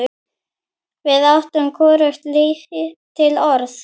Við áttum hvorugt til orð.